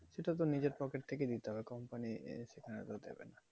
সেটা তো নিজের pocket থেকেই দিতে হবে company দেবে না।